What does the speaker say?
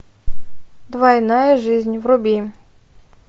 двойная жизнь вруби